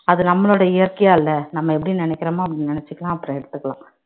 அது நம்மளோட இயற்கையா இல்ல நம்ம எப்படி நினைக்கிறோமோ அப்படி நினைச்சுக்கலாம் அப்புறம் எடுத்துக்கலாம்